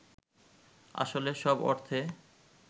আসলে সব অর্থে